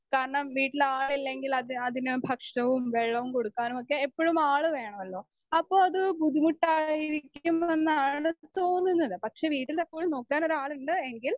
speaker 2 കാരണം വീട്ടിൽ ആളില്ലെങ്കിൽ അത് അതിന് ഭക്ഷണവും വെള്ളവും കൊടുക്കാനുമൊക്കെ എപ്പഴും ആള് വേണമല്ലോ അപ്പൊ അത് ബുദ്ധിമുട്ടായിരിക്കുമെന്നാണ് തോന്നുന്നത് പക്ഷെ വീട്ടിലെപ്പോഴും നോക്കാനൊരു ആളുണ്ട് എങ്കിൽ